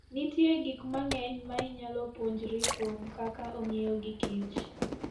Nitie gik mang'eny ma inyalo puonjri kuom kaka ong'iyo gikich.